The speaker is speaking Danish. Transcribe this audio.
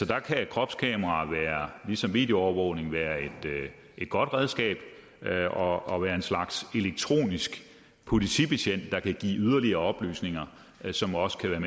der kan kropskameraer ligesom videoovervågning være et godt redskab og og være en slags elektronisk politibetjent der kan give yderligere oplysninger som også kan